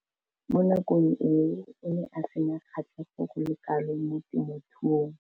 Mo nakong eo o ne a sena kgatlhego go le kalo mo temothuong.